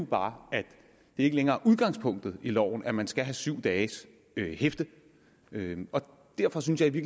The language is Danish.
bare at det ikke længere er udgangspunktet i loven at man skal have syv dages hæfte og derfor synes jeg i